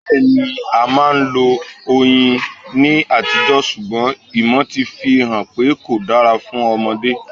Bẹ́ẹ̀ni, a máa ń lo Oyin ní àtijọ́ ṣùgbọ́n ìmọ̀ ti fi hàn pé kò dára fún Ọmọdé.